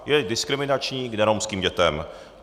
Je diskriminační k neromským dětem.